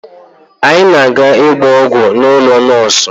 Anyị na-aga ịgba ọgwụ n'ụlọ nọọsụ